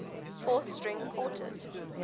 fourth string quartets